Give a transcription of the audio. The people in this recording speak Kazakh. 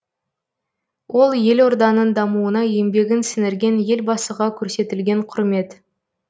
ол елорданың дамуына еңбегін сіңірген елбасыға көрсетілген құрмет